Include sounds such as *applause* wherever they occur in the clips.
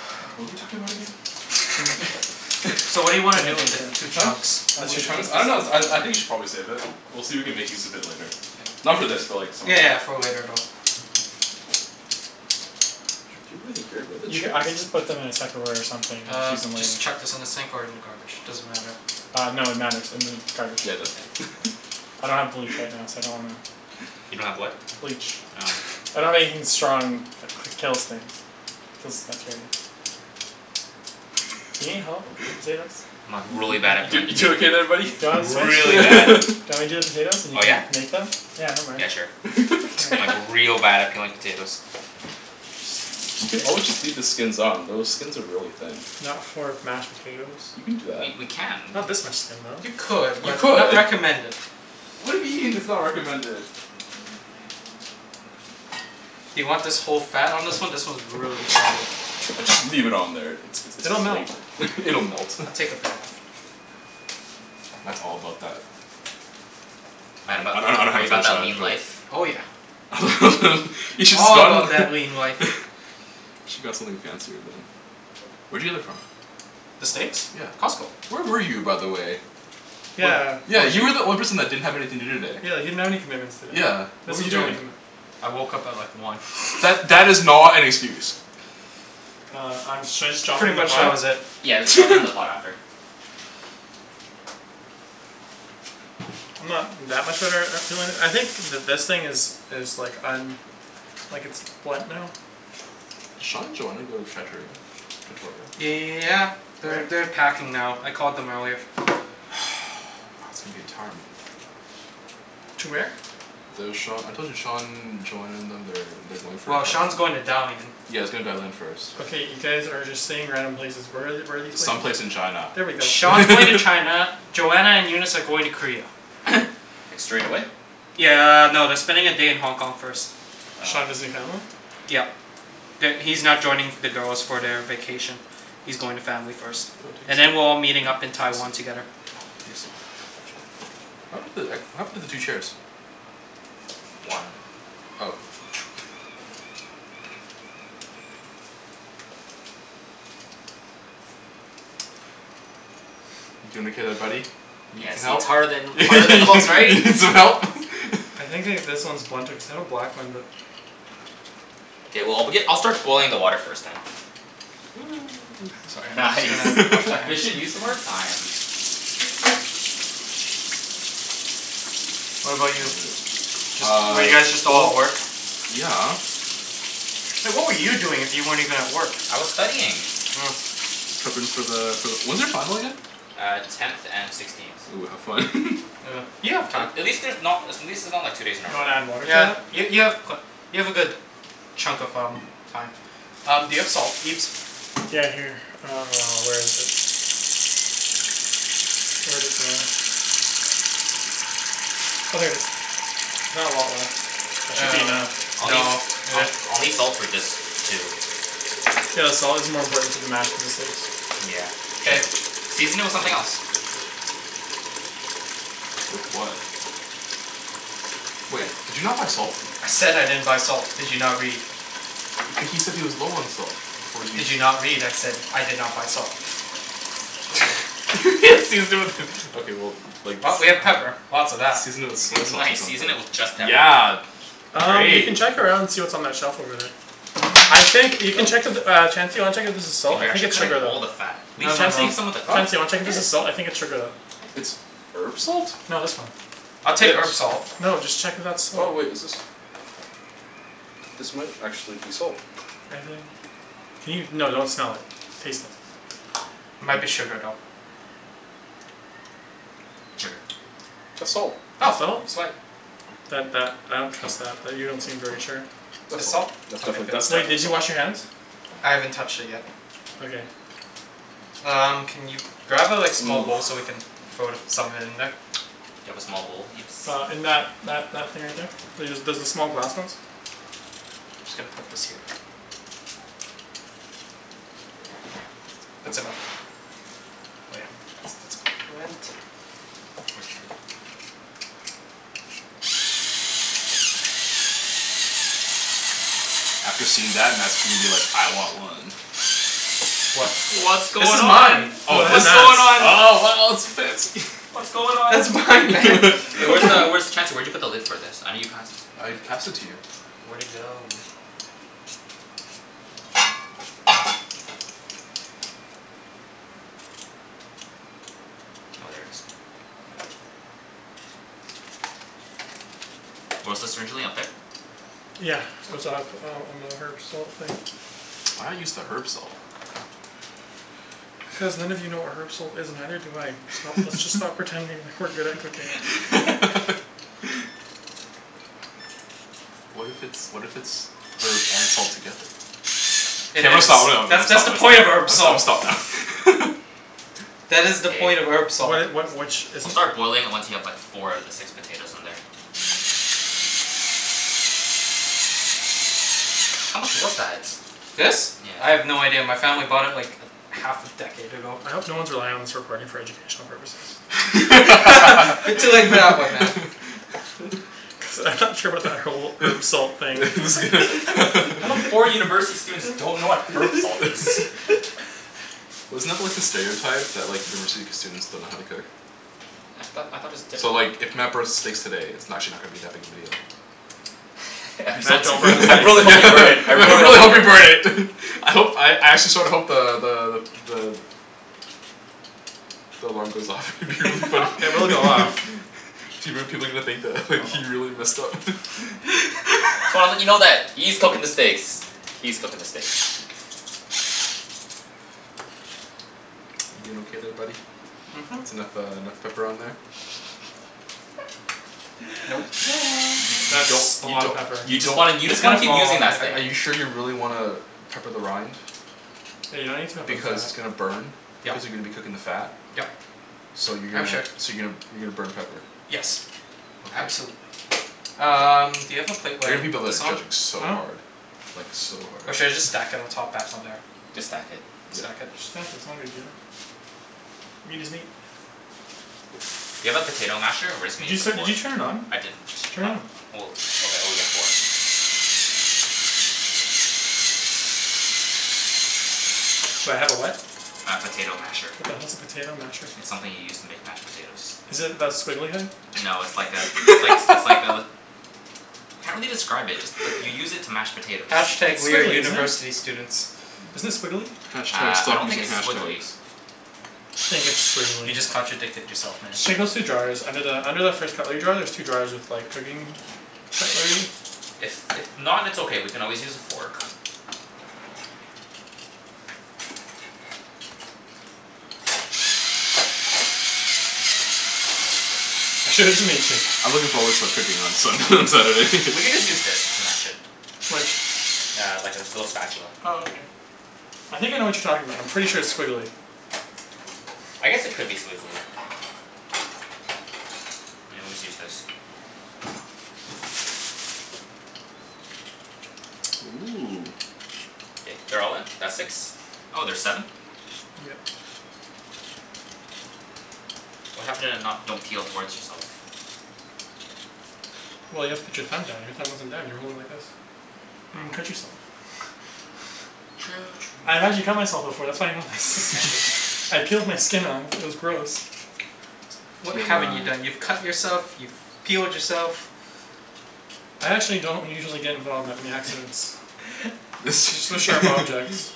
*noise* What were we talking about again? *laughs* *inaudible* So what do Gimme you wanna the do with the baker. two chunks? I just Two need to chunks? put *inaudible* I this don't know out of I your I think you way should probably save it. We'll see if we can make use of it later. Yeah. Not for this, but like some other Yeah day. yeah for later though. *inaudible* where are the You ca- chairs? I can just put them in a tupperware or something and Uh use them later. just chuck this in the sink or in the garbage, doesn't matter. Uh no, it matters. In the garbage. Yeah it does. *laughs* I don't have bleach right now, so I don't wanna. You don't have what? Bleach Oh. I don't have anything strong that kills things. Kills bacteria. Do you need help with the potatoes? I'm like really bad at *noise* You peeling you doing potatoes. okay there buddy? Do you Like wanna switch? really bad. Do you *laughs* *laughs* want me to do the potatoes and you Oh can yeah? make them? Yeah I don't mind. Yeah sure. I'm like *noise* *laughs* real bad at peeling potatoes. We could always just *inaudible* leave the skins on. Those skins are really thin. Not for mashed potatoes. You can do that. We we can. Not this much skin though. You could, You but could. not recommended. Why do you mean it's not recommended? Do you want this whole fat on this one? This one's really fatty. Just leave it on there. It's it's It'll melt flavor. It'll melt. I'll take a bit off. Matt's all about that Matt about I don't know that are how to you about finish that that, lean but life? Oh yeah. *laughs* You should All about spun that lean life. *laughs* Should got something fancier than Where'd you get that from? The steaks? Yeah. Costco. Where were you, by the way? Yeah Yeah, you were the only person that didn't have anything to do today. Yeah, you didn't have any commitments today. Yeah. What This were was you your only doing? commitment. I woke up at like one. That that is not an excuse. Uh I'm should I just drop them Pretty in the much that pot? was it. Yeah, let's drop it in the pot *laughs* after. I'm not that much of *inaudible* I think th- this thing is is like um like it's blunt now. Sean and Joanna go to Trattoria? Victoria? Yeah. They're they're packing now. I called them earlier. *noise* *inaudible* To where? The Sean, I told you, Sean, Joanna and them they're they're going for. Well Sean's going to *inaudible* Dalian. Yea he's going to Dalian first. Okay, you guys are just saying random places. Where are the- where are these places? Some place in China There we go *laughs* Sean's going to *laughs* China, Joanna and Eunice are going to Korea. Like straight away? Yeah no, they're spending a day in Hong Kong first. Sean Oh. visiting family? Yeah. That He's not joining the girls for the vacation. He's going to family first. *inaudible* And then we're all meeting up in Taiwan together. Juicy. *inaudible* What happened to the two chairs? One. Oh. You peelin' okay there buddy? You need Yeah some see it's help? harder than harder than it looks, *laughs* You right? need some help? *laughs* I think they this one is blunted cuz that one. *inaudible* K well I'll begin I'll start boiling the water first then. Sorry. *noise* Just Nice. gonna wash my *laughs* hands. Efficient use of our time. What *inaudible* about you? Just Uh. were you guys just all at Well. work? Yeah. Hey what were you doing if you weren't even at work? I was studying. Oh. *noise* Preppin' for the for the when's your final again? Uh tenth and sixteenth. Ooh, have fun. *laughs* Uh. You have time. At least there's not at least it's not like two days in a You row. wanna add water to Yeah that? y- Yeah. you have you have a good chunk of um Time. Um do you have salt Ibs? Yeah here. Uh, where is it? Where'd it go? Oh there it is. There's not a lot left. That should be enough. Uh no Um *noise* I'll need salt for this too. Yeah the salt is more important for the mash than the steaks. Yeah, true. K. Season it with something else. With what? Wait, did you not buy salt? I said I didn't buy salt, did you not read? H- he said he was low on salt, before you Did s- you not read? I said I did not buy salt. *laughs* Season it with okay well like s- Well, I we mean have pepper. Lots of that. Season it with soy *laughs* sauce or Nice something. season it with just pepper. Yeah. Um you can Great. check around see what's on that shelf over there. I think you can check if uh Chancey wanna check if there's salt? Dude I you're think actually it's cutting sugar though. all the fat. Leave No some no no, Chancey? leave some of the Huh? fat. Chancey, wanna I check if this did. is salt? I think it's sugar though. It's herb salt? No this one. I'll take This? herb salt. No, just check if that's Oh salt. wait, is this? This might actually be salt. I think. Can you? No, don't smell it. Taste it. Might be *noise* sugar though. It's sugar. That's salt. It's Oh, salt? sweet. That that I don't trust that. That you don't seem very sure. That's It's salt. salt? That's Okay definitely good that's Wait, definitely did you salt. wash your hands? I haven't touched it yet. Okay. Um can you grab a like small bowl so we *noise* can throw some of it in there? Do you have a small bowl, Ibs? Uh in that that that thing right there. There's the small glass ones. Just gotta put this here. That's enough. Oh yeah. It's it's plenty. Where's the lid? After seeing that Matt's gonna be like "I want one!" What? What's This going is on? mine. Yo Oh it that's is? What's nuts. going on? Oh wow it's fancy. *laughs* What's going on? That's It's mine. mine man. Hey *laughs* What where's the the hell? where's t- *laughs* Chancey where'd you put the lid for this? I know you passed I passed it to you. Where'd it go? Oh, there it is. Where was this originally? Up there? Yeah. it's up on on the herb salt thing. Why not use the herb salt? Cuz none of you know what herb salt is and neither do I. Sto- let's just *laughs* stop pretending that we're good at cooking. *laughs* *laughs* What if it's what if it's herb and salt together? K Hey there I'm it gonna is. stop *noise* I'm gonna That's that's stop the point of herb I'm gonna salt. stop now *laughs* That is the point of Hey. herb salt. What it what which is We'll it? start boiling it once you have like four out of the six potatoes in there. How much was that? This? I Yeah. have no idea. My family bought it like a half a decade ago. I hope no one's relying on this recording for educational purposes. *laughs* You're too late for that one man. *laughs* Cuz I'm not sure about that whole herb salt thing. *laughs* Just gonna *laughs* *laughs* How come four *laughs* university students don't know what herb salt is? *laughs* Wasn't that like the stereotype? That like university students don't know how to cook? I thought I thought it was So different like if Matt burns the steaks today it's n- actually not gonna be that big a deal. I'm so Man, don't bring the t- *laughs* I I States really hope you into this. burn it. I really hope hope you you burn burn it. it. *laughs* I hope I actually sorta hope the the the the The alarm goes off. It would be funny *laughs* *laughs* It will go off. People people are gonna think that he Oh really messed up *laughs* So I wanna let you know that *laughs* E's cooking the steaks. E's cooking the steaks. You doin' okay there buddy? Mhm. Mhm. It's enough uh enough pepper on there? Nope. Y- *noise* you you That's don't a you lotta don't pepper. You you just wanna you It's just wanna gonna keep fall off using don't in that the sting. are cooking. you sure you really wanna pepper the rind? Yeah, you don't need to pepper the Because fat. it's gonna burn. Yeah. Cuz you're gonna be cooking the fat. Yep. So you're I'm gonna sure. so you're gonna you're gonna burn pepper. Yes, Okay. absolutely. Um do you have a plate I where I hear can people put that are this on? judging so Huh? hard. Like so hard. Or should I just stack it on top back on there? Just stack it. Yeah. Stack it? Just stack it, it's not a big deal. I mean doesn't he Do you have a potato masher or we're just Did gonna you use a set did fork? you turn it on? I didn't. Turn Not it. oh okay oh yeah four. Do I have a what? A potato masher. What the hell's a potato masher? It's something you use to make mashed potatoes. Is it that squiggly thing? No it's like a it's likes it's like a *laughs* Can't really describe it, just like you use it to mash potatoes. Hash tag It's we're squiggly, isn't it? university students. Isn't it squiggly? Hash tag Uh I stop don't think using it's hash squiggly. tags. I just think it's squiggly You just contradicted yourself man. Just check those two drawers. Under the under the first cutlery drier there's two drawers with like cooking cutlery. If if not it's okay, we can always use a fork. I'm sure it doesn't mix it. I'm looking forward to cooking on Sun- on Saturday. *laughs* We can just use this to mash it. Which? Yeah, like this little spatula. Oh okay. I think I know what you're talking about, I'm pretty sure it's squiggly. I guess it could be squiggly. I always use this. *noise* Ooh. K, they're all in? That's six? Oh, there's seven? Yeah. What happened to not don't peel towards yourself? Well you have to put your thumb down. Your thumb wasn't down. You were holding it like this. You're gonna Oh cut yourself. *laughs* True I've true actually cut myself true before. That's why I know this. Actually? *laughs* I peeled my skin off. It was gross. You What T haven't m you i done? You've cut yourself, you've peeled yourself. I actually don't usually get involved with that many accidents. *laughs* With sharp objects. *laughs*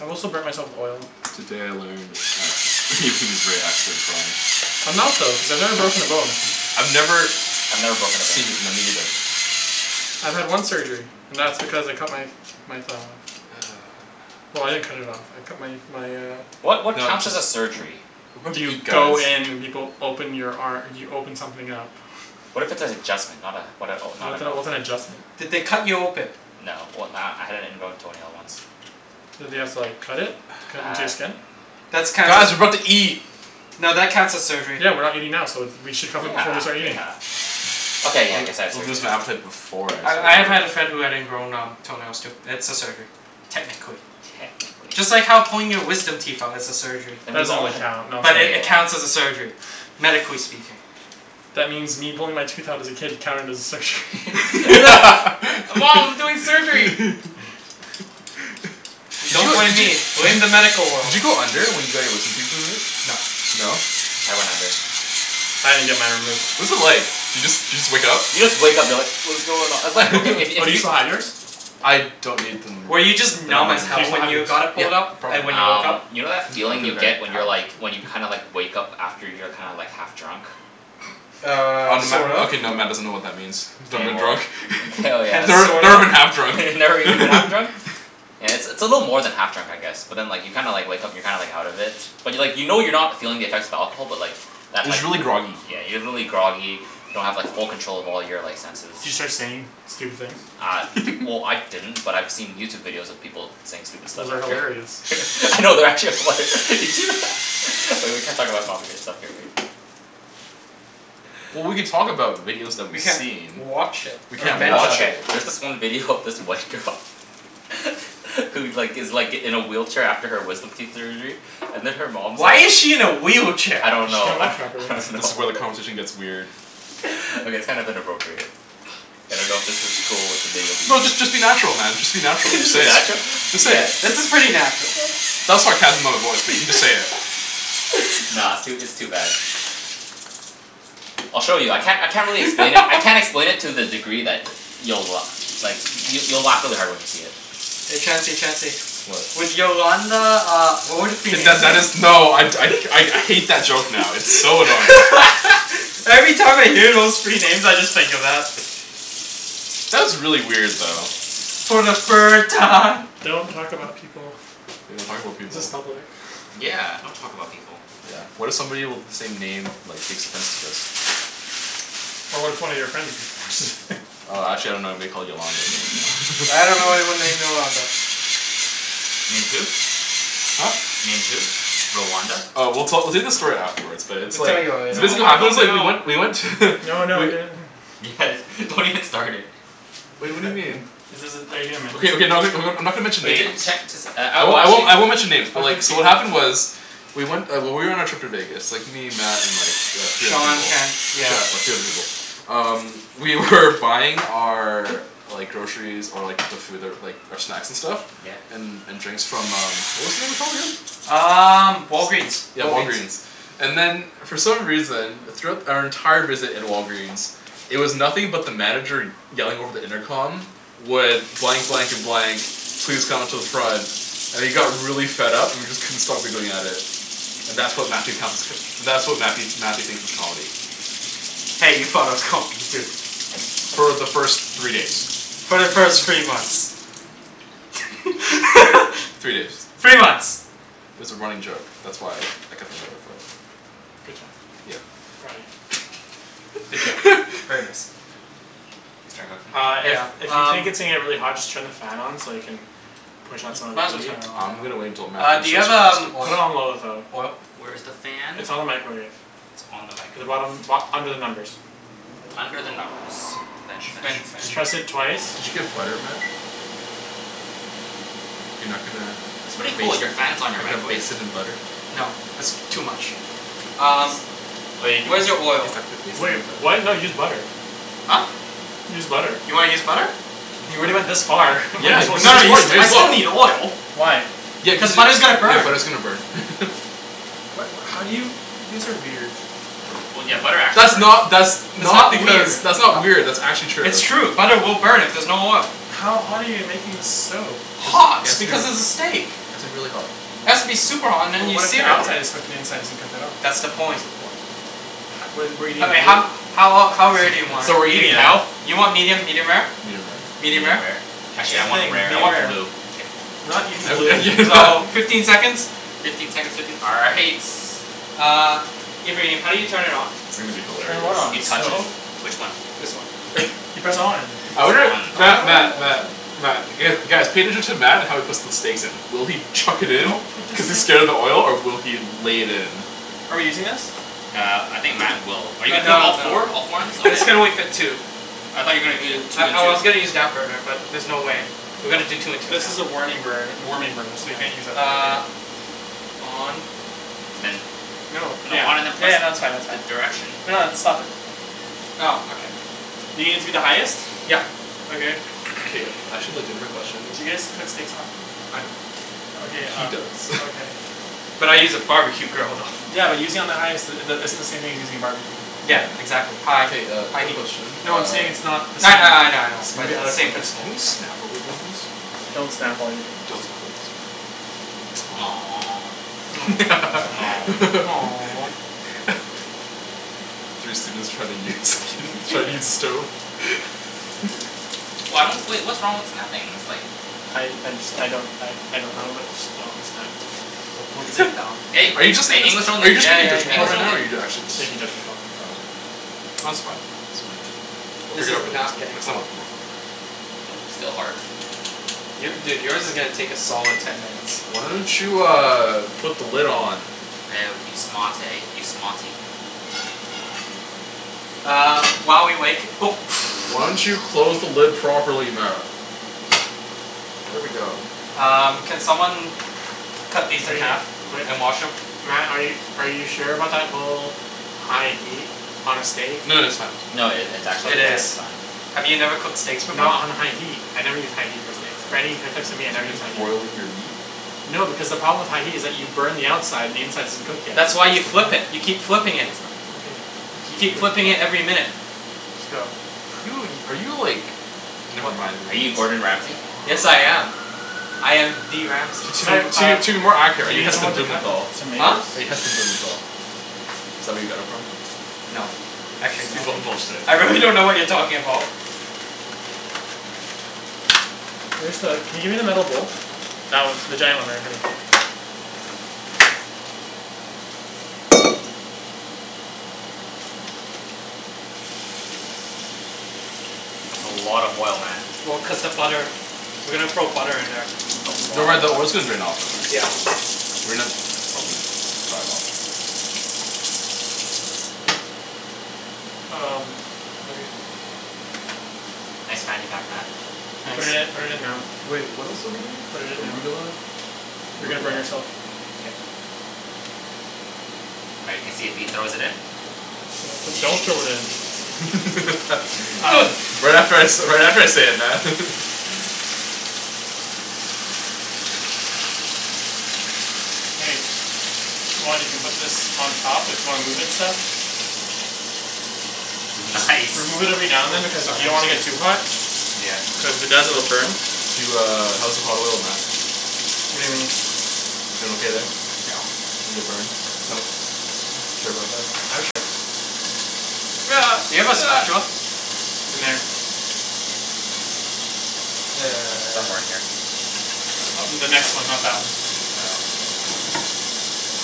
I've also burnt myself with oil. Today I learned that Ibrahim is very accident prone. I'm not though, cuz I've never broken a bone. I've never I've never broken a bone Seen, either. no me neither. I've had one surgery, and that's because I cut my my thumb off. Well I didn't cut it off, I cut my my uh What what counts as a surgery? What are You you guys go in and people open your ar- you open something up. What if it's an adjustment? Not uh what a not What the an hell, what's open? an adjustment? Did they cut you open? No, well uh I had an ingrown toenail once. Did they have to like cut it? Cut into your Uh skin? That's counts Guys, as we're about to eat. no that counts as surgery. Yeah, we're not eating now, so th- we should cover Yeah, it before we start eating. yeah. I'll Okay, yeah I guess I had I'll surgery lose my then. appetite before I I start I have had a eating. friend who had ingrown um toenails too. It's a surgery. Techincally. Technically. Just like how pulling your wisdom teeth out is a surgery. Then That we've doesn't all really had count, But it *inaudible* yeah. counts as a surgery, medically speaking. That means me pulling my tooth out as a kid counted as a surgery. *laughs* *laughs* Hey mom we're doing surgery! *laughs* Did Don't you blame did you me, blame did you the medical did world. you go under when you got your wisdom teeth removed? No. No? I went under. I didn't get mine removed. What was it like? Do you just do you just wake up? You just wake up you're like "What's going on?" It's like okay if *laughs* Oh if do you you still have yours? I don't need them Were you removed. just They're not numb as bugging Do you hell still me. when have yours? you got it Yeah, pulled out? And probably. when you woke Um up? you know that feeling you get when you're like *inaudible* when you kinda like wake up after you're kinda like half drunk? Um, Um Matt sort of. okay now Matt doesn't know what that means. K, Never been well, drunk. k oh *laughs* *inaudible* Never yes. sort never of. been half drunk. *laughs* Never even half drunk? *laughs* Yeah, it's a little more than half drunk I guess. But then like you kinda like wake up and you're kinda like out of it. But like you know you're not feeling the effects of alcohol but like But Just like y- really groggy. yeah, you're really groggy, you don't have like full control of all your like senses. Do you start saying stupid things? Uh well *laughs* I didn't, but I've seen YouTube videos of people saying stupid stuff Those are after. hilarious. *laughs* No, they're actually hilar- You see *laughs* Oh, we can't talk about copyright stuff here, right? Well we could talk about videos that We we've can't seen. watch it We or Okay can't mention watch okay, it. there's this one video of this white girl *laughs* Who like gives like in a wheelchair after her wisdom teeth surgery. And then her mom Why is she in a wheelchair? I don't Cuz she know can't I walk properly. don't This know is where the *laughs* conversation gets weird. *laughs* Okay it's kind of inappropriate. I don't know if this is cool with the video people. No just just be natural man, just be natural. Just say *laughs* it. natural? Just say Yeah. it. This is pretty natural. That was sarcasm in my voice. But you just say it. *laughs* Nah, it's too it's too bad. I'll show you. I can't I can't really explain it. I *laughs* can't explain it to the degree that you'll like you'll you'll laugh really hard when you see it. Hey Chancey Chancey. What? Would Yolanda uh would it be K that that is. *inaudible* No I I I hate that joke now. It's so annoying. *laughs* Every time I hear those three names I just think of that. That was really weird though. Okay. For the third time. Don't talk about people. We don't talk about This is people. public. Yeah, don't talk about people. Yeah, what if somebody with the same name like takes offense of this? But what if one of your friends just *noise* Uh actually I don't know anybody called Yolanda but you I dunno know. *laughs* anyone named Yolanda. Named who? Huh? Named who? Rwanda? Uh we'll tell we'll tell you the story afterwards, but it's We'll tell like. you So later. No, this I is what wanna happened know it's like we now. went we went to No, no, I *laughs* do. Guys, don't even start it. Wait what do you mean? Is this are you going to mention Okay okay *inaudible* someone? I'm not gonna mention Wait names. *inaudible* can't just uh I won't I won't I won't *inaudible* mention names but Okay. like so what happened was. We went uh when we were on our trip to Vegas. Me, Matt, and like the three other Sean people. can't yeah. Yeah three other people. Um we were buying our Like groceries, or like the food that like um snacks and stuff Yeah. And and drinks from um what was the name *inaudible* again? Um Walgreens. Yeah Walgreens. Walgreen's. And then for some reason, throughout our entire visit at Walgreens It was nothing but the manager yelling over the intercom Would blank blank and blank Please come to the front And he got really fed up and we just couldn't stop giggling at it. And that's what Matthew counts as that's what Matthew Matthew thinks is comedy. Hey, you thought it was comedy, too. For the first three days. For the first three months. Three days. *laughs* Three months. It's a running joke. That's why I kept on going for it. Good job. Yeah. Proud of you. Good job. *laughs* Very nice. Uh Yeah, if if you um. think it's gonna get really hot just turn the fan on so you can Push out some of Might as the well heat. turn it on I'm gonna wait until now. Matt Uh do you have um *inaudible* Put it oil on low though. oil? Where's the fan? It's on the microwave. It's on In the the microwave. bottom bo- under the numbers. Under the numbers. Did French you *inaudible* did French. French. you did Just press it twice. you get butter, Matt? You're not gonna It's pretty baste cool, your not fan's gonna on baste your it in microwave. butter? No, that's too much. Um, where's He's your he's oil? not gonna baste Wait, it in what? butter. No use butter. Huh? Use butter. You wanna use butter? You already went this far, might Yeah, as you well can use No, you s- I still need just *inaudible* oil. Why? Yeah cuz Cuz you butter's gonna yeah burn. butter's gonna burn *laughs* What what how do you? You guys are weird. That's not that's It's not not because weird. that's not weird that's actually true. It's true. Butter will burn if there's no oil. How hot are you making this stove? Just it Hot, has to be because it it's a steak. has to be really hot. It has to be super hot and But then you what if the sear it. outside is cooked and the inside isn't cooked at all? That's the That's point. the point. What do you mean? I mean Blue? how how ol- how rare do you want Medium. it? You want medium, medium rare? Medium rare Medium Medium rare? rare. Actually I Same thing, want medium rare rare. or blue. Kidding. We're not eating blue. So, *laughs* fifteen seconds? Fifteen seconds will do all right. Uh, Ibrahim, how do you turn it on? It's gonna be Turn what hilarious. on, the stove? Which one? This one. You press on. *laughs* I wonder Matt Matt Oh. Matt Matt guys cater to Matt how he puts the steaks in. Will he chuck it in? Don't put this Cuz he's thing scared of the oil or will he lay it in? Are we using this? Uh I think Matt will. Are you *inaudible* put No, all no. four? All four in it? This can Okay. only *laughs* fit two. I thought you're gonna do I two and I two. was gonna *inaudible* use that burner, but there's no way. We're gonna do two and two now. This is a warning burner warming burner so you can't use that for cooking. Uh On Then. No. Yeah. No, Yeah no on and that's fine then that's fine. press the direction. No it's stop it. Oh, okay. You gonna use the highest? Yep. Okay. K, I actually have a legitimate question. D'you guys cook steaks often? I don't. Okay He uh does. *laughs* okay. But I use a barbecue grill though. Yeah but using on the highest uh the isn't the same thing as using a barbecue. Yeah, Yeah man. exactly, high K uh high quick heat. question No I'm uh saying it's not the same. Yeah, yeah. I know I know. Maybe out of *noise* Same context. principle. Can we snap while we're doing this? Don't snap while you're doing Don't this. snap to be safe. *noise* *laughs* Three students try to use *laughs* try to use stove. *laughs* Why don't wait what's wrong with snapping ? It's like I I just I don't I I don't know but just don't snap. Wo bu zhi dao Hey, *laughs* Are you are just you it's just saying? are you Yeah just making a yeah yeah judgment call right yeah now or are you actually just Safety judgment call. Oh okay, Oh it's fine. We'll This figure is out for next not time. getting Next time hot. will be *inaudible* more fun. Still hard. Your dude yours is gonna take a solid ten minutes. Why don't you uh put the lid on? Woah you smart eh you smarty. Uh while we wait *noise* *noise* Why don't you close the lid properly Matt? There we go. Um, can someone cut Okay, these in half wait, and wash them? Matt are you are you sure about that whole high heat on a steak? No that's fine. No it it's It actually Okay. is. just fine. Have you never cooked steaks before? Not on a high heat. I never use high heat on steaks. For any types of meat I Do never you use just high heat. boil your meat? No because the problem with high heat is that you burn the outside and the inside isn't cooked yet. That's why you flip it. You keep flipping it. That's no- okay, You keep cook flipping it every your *inaudible* minute. Just go. Are you *laughs* in are you like never mind. Are you Yes I Gordon am. Ramsay? I am the Ramsay. To Si- uh, to to be more accurate, are we you need Heston someone to cut the Blumenthal? Huh? tomatoes? Are you Heston Blumenthal? Is that where you got it from? No, actually no. Excuse me. Bull bull shit. I really don't know what you're talking about. Where's the can you give me the metal bowl? That one. The giant one right in front of you. That's a lot of oil, Matt. Well cuz the butter. We're gonna throw butter in there. It's a Don't worry lot the of oil's gonna oil. drain out though right? Yeah. We *inaudible* probably dry it off. Um, okay. Thanks man you got that? You put it in Nice. put it in now. Wait, what else are we doing? Put it in now. Arugula? You're gonna Arugula? burn yourself. All right let's see if he throws it in. Do- do- don't throw it in. *laughs* Um. Right after I say right after I say it, Matt. Hey. If you want, you can put this on top. If you wanna move it and stuff. Just That's nice remove it every now and then cuz you don't want to get too hot. Yeah. Cuz the *inaudible* burn. Do uh how's the hot oil Matt? What do you mean? You doin' okay there? You get burned? Nope. Sure about that? I'm sure. Do you have a spatula? *noise* In there. Somewhere in *noise* here. *noise* In the next one, not that one.